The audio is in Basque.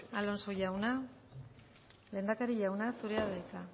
alonso jauna lehendakari jauna zurea da hitza